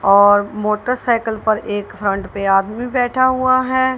और motorcycle पर एक फ्रंट पर आदमी बैठा हुआ है।